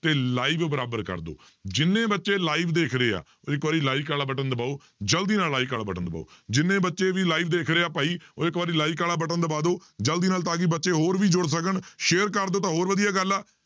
ਤੇ live ਬਰਾਬਰ ਕਰ ਦਓ ਜਿੰਨੇ ਬੱਚੇ live ਦੇਖ ਰਹੇ ਆ ਉਹ ਇੱਕ ਵਾਰੀ like ਵਾਲਾ button ਦਬਾਓ ਜ਼ਲਦੀ ਨਾਲ like ਵਾਲਾ button ਦਬਾਓ ਜਿੰਨੇ ਬੱਚੇ ਵੀ live ਦੇਖ ਰਹੇ ਆ ਭਾਈ, ਉਹ ਇੱਕ ਵਾਰੀ like ਵਾਲਾ button ਦਬਾ ਦਓ, ਜ਼ਲਦੀ ਨਾਲ ਤਾਂ ਕਿ ਬੱਚੇ ਹੋਰ ਵੀ ਜੁੁੜ ਸਕਣ share ਕਰ ਦਿਓ ਤਾਂ ਹੋਰ ਵਧੀਆ ਗੱਲ ਆ